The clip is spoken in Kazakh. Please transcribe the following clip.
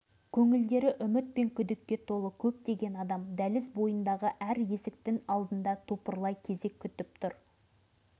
бұл жерде одақтық көлемде құрылған үлкен дәрігерлік комиссия екі айдан бері жұмыс істеп жатыр екен